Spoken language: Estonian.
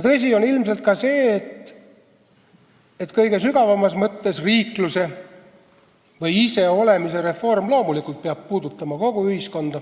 Tõsi on ilmselt ka see, et kõige sügavamas mõttes riikluse või iseolemise reform peab loomulikult puudutama kogu ühiskonda,